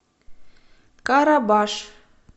карабаш